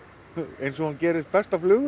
eins og hún gerist best frá flugu